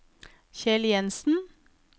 Kjell Jensen